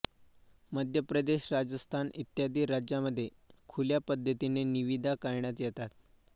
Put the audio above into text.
मध्य प्रदेश राजस्थान इत्यादी राज्यांमध्ये खुल्या पद्धतीने निविदा काढण्यात येतात